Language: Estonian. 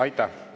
Aitäh!